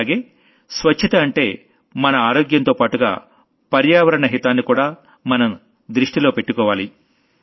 అలాగే స్వచ్ఛత అంటే మన ఆరోగ్యంతోపాటుగా పర్యావహరణ హితాన్ని కూడా మనం దృష్టిలో పెట్టుకోవాలి